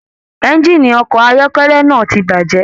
Ẹ̀ngiini ọkọ ayọkẹlẹ náà tí bajẹ.